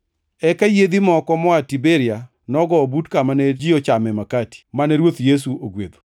Eka yiedhi moko moa Tiberia nogowo but kama ne ji ochame makati, mane Ruoth Yesu ogwedho.